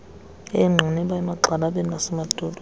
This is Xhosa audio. eengqiniba emagxalabeni nasemadolweni